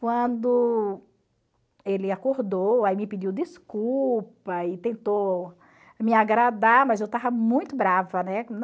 Quando ele acordou, aí me pediu desculpa e tentou me agradar, mas eu estava muito brava, né?